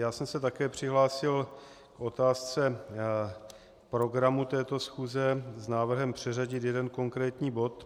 Já jsem se také přihlásil k otázce programu této schůze s návrhem přeřadit jeden konkrétní bod.